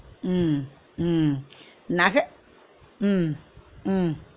உம் உம் நக உம் உம்